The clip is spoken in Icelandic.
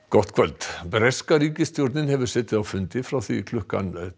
gott kvöld breska ríkisstjórnin hefur setið á fundi frá því klukkan